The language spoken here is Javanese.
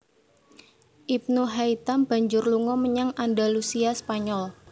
Ibnu Haitam banjur lunga menyang Andalusia Spanyol